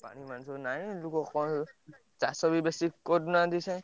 ପାଣି ମାଣି ସବୁ ନାଇଁ ଲୋକ କଣ ଚାଷ ବି ବେଶୀ କରୁନାହାନ୍ତି ।